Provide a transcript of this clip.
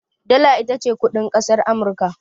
Dala ita ce kuɗin ƙasar Amurka.